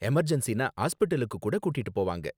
எமர்ஜென்ஸினா ஹாஸ்பிடலுக்கு கூட கூட்டிட்டு போவாங்க